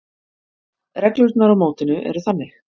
Reglurnar á mótinu eru þannig: